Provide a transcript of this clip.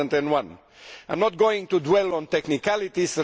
2001. I am not going to dwell on technicalities